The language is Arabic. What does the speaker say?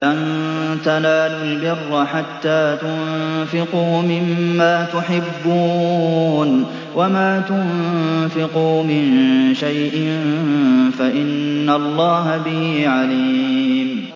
لَن تَنَالُوا الْبِرَّ حَتَّىٰ تُنفِقُوا مِمَّا تُحِبُّونَ ۚ وَمَا تُنفِقُوا مِن شَيْءٍ فَإِنَّ اللَّهَ بِهِ عَلِيمٌ